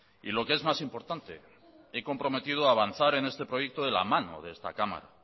y lo que es más importante he comprometido avanzar en este proyecto de la mano de esta cámara